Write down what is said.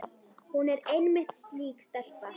Hún er einmitt slík stelpa.